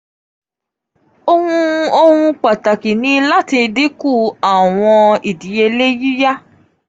ohun ohun pataki ni lati dinku awọn idiyele yiya.